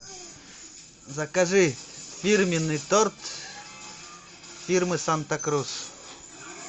закажи фирменный торт фирмы санта круз